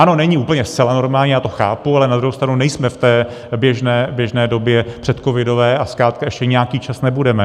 Ano, není úplně zcela normální, já to chápu, ale na druhou stranu nejsme v té běžné době předcovidové a zkrátka ještě nějaký čas nebudeme.